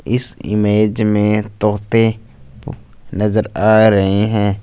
इस इमेज में तोते नजर आ रहे हैं।